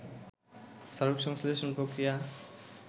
সালোকসংশ্লেষণ প্রক্রিয়া